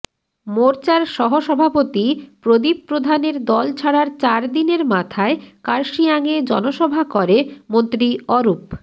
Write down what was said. মোর্চার সহ সভাপতি প্রদীপ প্রধানের দল ছাড়ার চার দিনের মাথায় কার্শিয়াঙে জনসভা করে মন্ত্রী অরূপ